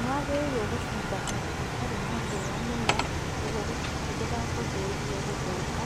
Nĩwagĩrĩirwo gũciga handũ hatarĩ na riũa mũno nĩgwo ndũgacũngĩrĩrĩe gũthũka,